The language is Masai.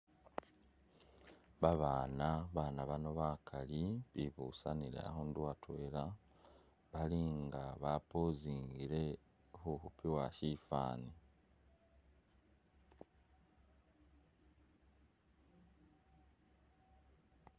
Babaana, babaana bano bakaali bibusanile akhuundu atweela bali nga bab Pozingile khukhupibwa sifwani.